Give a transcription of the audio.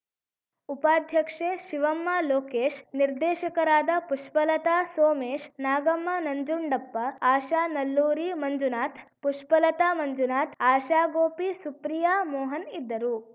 ಉಪಾಧ್ಯಕ್ಷೆ ಶಿವಮ್ಮ ಲೋಕೇಶ್‌ ನಿರ್ದೇಶಕರಾದ ಪುಷ್ಪಲತಾ ಸೋಮೇಶ್‌ ನಾಗಮ್ಮ ನಂಜುಂಡಪ್ಪ ಆಶಾ ನಲ್ಲೂರಿ ಮಂಜುನಾಥ್‌ ಪುಷ್ಪಲತಾ ಮಂಜುನಾಥ್‌ ಆಶಾಗೋಪಿ ಸುಪ್ರಿಯಾ ಮೋಹನ್‌ ಇದ್ದರು